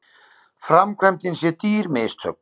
Framkvæmdin sé dýr mistök